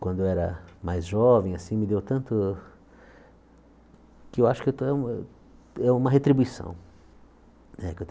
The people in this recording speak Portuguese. Quando eu era mais jovem assim, me deu tanto que eu acho que eu é uma retribuição né que eu.